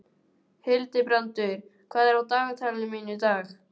Hildibrandur, hvað er á dagatalinu mínu í dag?